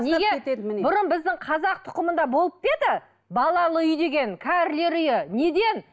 бұрын біздің қазақ тұқымында болып па еді балалы үй деген кәрілер үйі неден